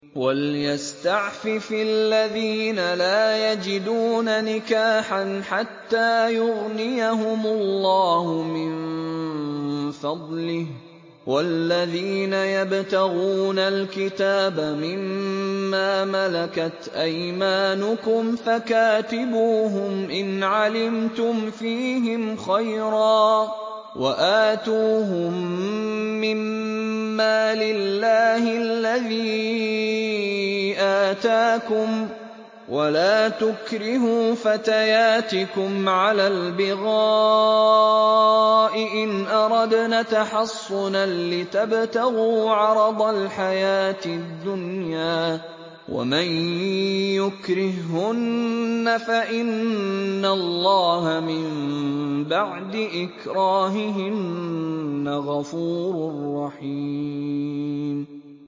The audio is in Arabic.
وَلْيَسْتَعْفِفِ الَّذِينَ لَا يَجِدُونَ نِكَاحًا حَتَّىٰ يُغْنِيَهُمُ اللَّهُ مِن فَضْلِهِ ۗ وَالَّذِينَ يَبْتَغُونَ الْكِتَابَ مِمَّا مَلَكَتْ أَيْمَانُكُمْ فَكَاتِبُوهُمْ إِنْ عَلِمْتُمْ فِيهِمْ خَيْرًا ۖ وَآتُوهُم مِّن مَّالِ اللَّهِ الَّذِي آتَاكُمْ ۚ وَلَا تُكْرِهُوا فَتَيَاتِكُمْ عَلَى الْبِغَاءِ إِنْ أَرَدْنَ تَحَصُّنًا لِّتَبْتَغُوا عَرَضَ الْحَيَاةِ الدُّنْيَا ۚ وَمَن يُكْرِههُّنَّ فَإِنَّ اللَّهَ مِن بَعْدِ إِكْرَاهِهِنَّ غَفُورٌ رَّحِيمٌ